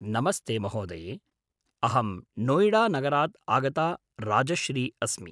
नमस्ते महोदये, अहं नोयिडानगरात् आगता राजश्री अस्मि।